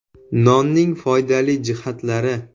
Nonning foydali jihatlari.